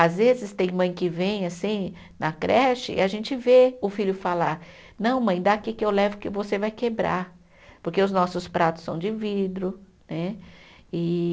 Às vezes tem mãe que vem assim na creche e a gente vê o filho falar, não mãe, dá aqui que eu levo que você vai quebrar, porque os nossos pratos são de vidro, né? E